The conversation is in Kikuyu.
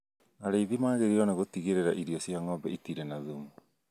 Arĩthi magĩrĩirwo nĩ gũtigĩrĩra irio cia ng'ombe itirĩ na thumu